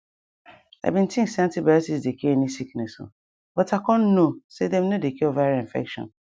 i bin dey think say antibiotics dey cure any sickness o but i con know say dem no dey cure viral infection